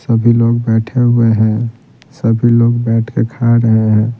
सभी लोग बैठे हुए हैं सभी लोग बैठ के खा रहे हैं।